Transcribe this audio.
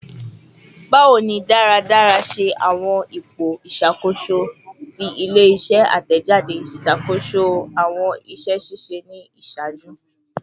Bawo ni daradara ṣe awọn ipo iṣakoso ti ile-iṣẹ atẹjade ṣakoso awọn iṣẹ ṣiṣe ni iṣaaju?